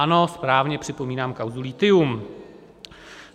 Ano, správně, připomínám kauzu Lithium.